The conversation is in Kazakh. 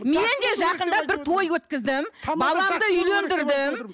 мен де жақында бір той өткіздім баламды үйлендірдім